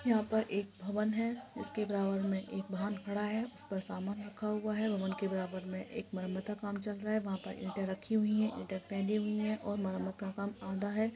यहां पर एक भवन है जिसके बराबर में एक वाहन खड़ा है उस पर सामान रखा हुआ है भवन के बराबर में एक मरम्मत का काम चल रहा है वहां पर ईंटे रखी हुई है ईंटे हुई है और मरम्मत का काम आधा है।